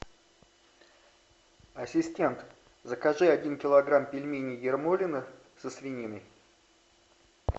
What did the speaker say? ассистент закажи один килограмм пельменей ермолино со свининой